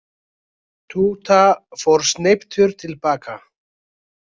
Túta fór sneyptur til baka.